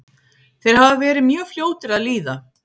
Þeir hafa verið mjög fljótir að líða.